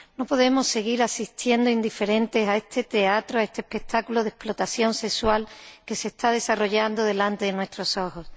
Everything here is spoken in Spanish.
No podemos seguir asistiendo indiferentes a este teatro, a este espectáculo de explotación sexual que se está desarrollando delante de nuestros ojos.